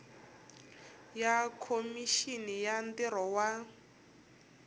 ya khomixini ya ntirho wa